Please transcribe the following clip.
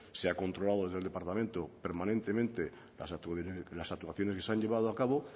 se ha controlado desde el departamento permanentemente la actuaciones que se han llevado a cabo